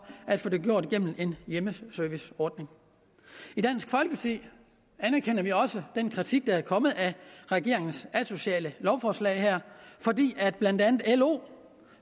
at få gennem en hjemmeserviceordning i dansk folkeparti anerkender vi også den kritik der er kommet af regeringens asociale lovforslag blandt andet lo